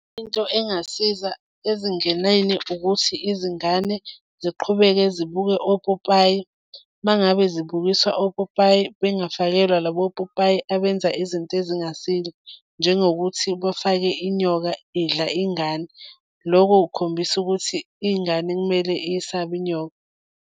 Into engasiza ezinganeni ukuthi izingane ziqhubeke zibuke opopayi, uma ngabe zibukiswa opopayi bengafakelwa labo popayi abenza izinto ezingasile, njengokuthi bafake inyoka idla ingane. Loko kukhombisa ukuthi ingane kumele iyisabe inyoka.